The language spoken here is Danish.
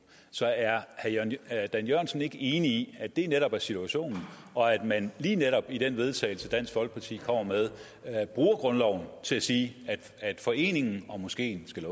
så er herre dan jørgensen ikke enig i at det netop er situationen og at man lige netop i til vedtagelse dansk folkeparti kommer med bruger grundloven til at sige at foreningen og moskeen skal